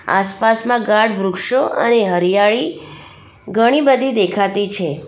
આસપાસમાં ગાડ વૃક્ષો અને હરિયાળી ઘણી બધી દેખાતી છે.